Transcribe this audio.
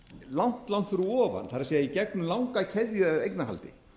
langt langt fyrir ofan það er í gegnum langa keðju af eignarhaldi